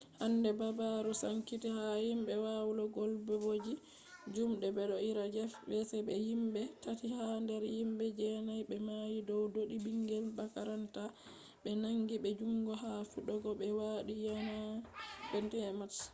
hande habaru sankiti ha himbe walowal bodejum de bedo ira jeff weise be himbe tati ha der himbe jenai be mayi dow dodi bingel makaranta be nangi be jungo ha fidego be wadi yaande 21 march